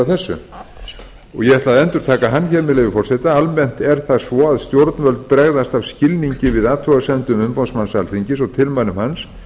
þessu og ég ætla að endurtaka hann hér með leyfi forseta almennt er það svo að stjórnvöld bregðast af skilningi við athugasemdum umboðsmanns alþingis og tilmælum hans